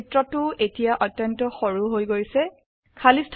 চিত্ৰটো এতিয়া অত্যন্ত সৰুকমপ্যাক্ট হৈ গৈছে